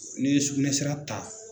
N'i ye sugunɛsira ta